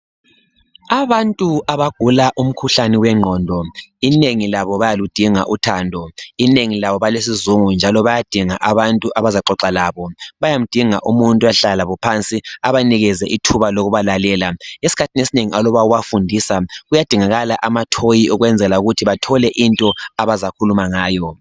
Abantu abagula umkhuhlane wengqondo inengi labo bayaludinga uthando. Inengi labo balesizungu njalo bayadinga abantu abazaxoxa labo, bayamdinga umuntu oyahlala labo phansi abanikeze ithuba lokubalalela. Eskhathini esinengi aloba ubafundisa kuyadingakala amathoyi ukwenzela ukuthi bathole into abazakhuluma ngayo.